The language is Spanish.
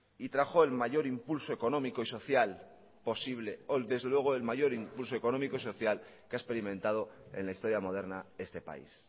y trajo el mayor impulso económico y social posible desde luego el mayor impulso económico y social que ha experimentado en la historia moderna este país